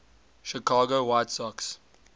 chicago white sox